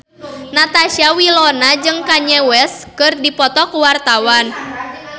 Natasha Wilona jeung Kanye West keur dipoto ku wartawan